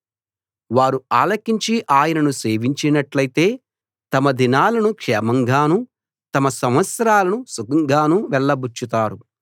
వారు ఆలకించి ఆయనను సేవించినట్టయితే తమ దినాలను క్షేమంగాను తమ సంవత్సరాలను సుఖంగాను వెళ్లబుచ్చుతారు